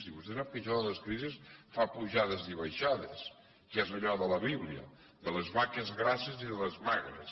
i vostè sap que això de les crisis fa pujades i baixades que és allò de la bíblia de les vaques grasses i de les magres